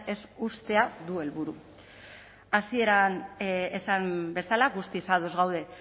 ez uztea du helburu hasieran esan bezala guztiz ados gaude